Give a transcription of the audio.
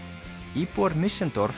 íbúar